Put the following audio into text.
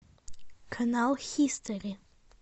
канал хистори